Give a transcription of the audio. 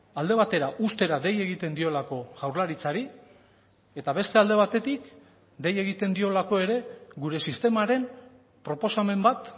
alde batera uztera dei egiten diolako jaurlaritzari eta beste alde batetik dei egiten diolako ere gure sistemaren proposamen bat